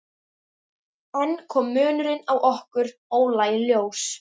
Enn kom munurinn á okkur Óla í ljós.